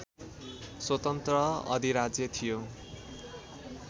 स्वतन्त्र अधिराज्य थियो